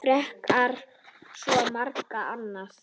Frekar en svo margt annað.